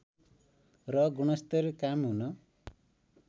र गुणस्तर कायम हुन